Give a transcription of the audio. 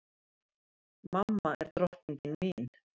Mamma er drottningin mín.